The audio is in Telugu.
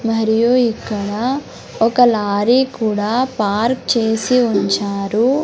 మరియు ఇక్కడ ఒక లారీ కూడా పార్క్ చేసి ఉంచారు.